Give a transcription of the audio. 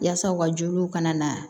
Yaasa u ka joliw kana na